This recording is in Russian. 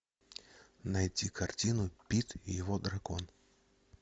найти картину пит и его дракон